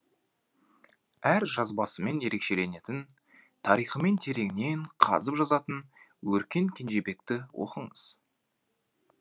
әр жазбасымен ерекшеленетін тарихымен тереңнен қазып жазатын өркен кенжебекті оқыңыз